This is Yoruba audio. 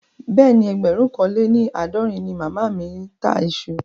Bẹ́ẹ̀ni, ẹgbẹ̀rún kan lé ní àádọ́rin ni màmá mi ń ta iṣu